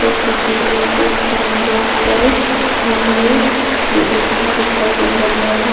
इस तस्वीर में एक साइन बोर्ड पर भूमलेग लिखा दिखाई दे रहा है।